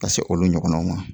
Ka se olu ɲɔgɔnnaw ma